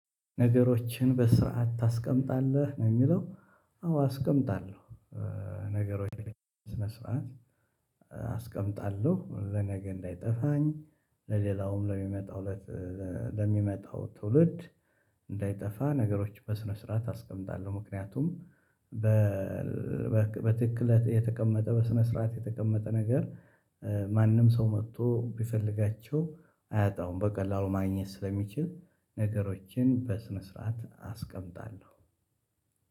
ነገሮችን በስርዓት ታስቀምጣለህ ነው የሚለው አዎ አስቀምጣለሁ ነገሮችን ስነ ስርዓት። አስቀምጣለሁ ለነገ እንዳይጠፋኝ ለሌላውም ለሚመጣው ለሚመጣው ትውልድ እንዳይጠፋ ነገሮች በስነ ስርዓት አስቀምጣለሁ፤ ምክንያቱም በ በትክክለት የተቀመጠ በስነ ስርዓት የተቀመጠ ነገር ማንም ሰው መጥቶ ቢፈልጋቸው አያጣም በቀላሉ ማግኘት ስለሚችል ነገሮችን በስነ ስርዓት አስቀምጣለሁ።